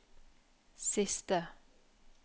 siste